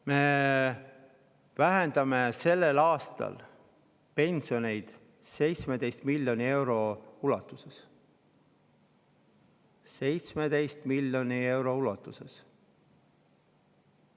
Me vähendame sellel aastal pensioneid 17 miljoni euro ulatuses – 17 miljoni euro ulatuses!